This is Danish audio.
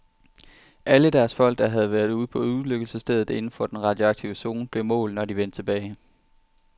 Alle deres folk, der havde været på ulykkesstedet inden for den radioaktive zone, blev målt, når de vendte tilbage.